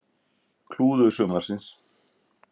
Klúður sumarsins?